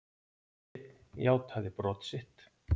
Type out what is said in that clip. Einn játaði brot sitt.